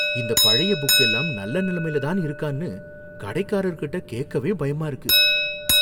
இந்த பழைய புக் எல்லாம் நல்ல நிலைமையில தான் இருக்கான்னு கடைக்காரர்கிட்ட கேக்கவே பயமா இருக்கு